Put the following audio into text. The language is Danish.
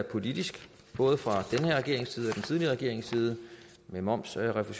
politisk både fra den her regerings side og den tidligere regerings side med momsfradraget